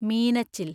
Meenachil